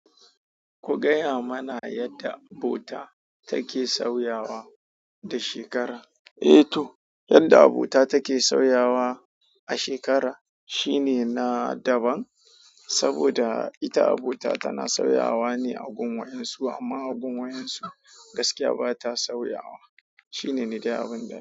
Ku gaya mana yadda abota take sauyawa da shekara. Eh to, yadda abota take sauyawa a shekara shine na daban, saboda ita abota tana sauyawa ne a gun wayan su amma a gun wayan su gaskiya bata sauyawa. Shine ni dai abin da.